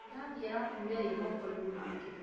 Ngirathi ĩrakuire ĩ mokoinĩ make